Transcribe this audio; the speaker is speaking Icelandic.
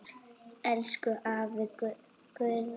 Elsku afi Guðni.